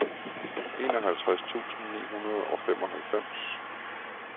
enoghalvtreds tusind ni hundrede og femoghalvfems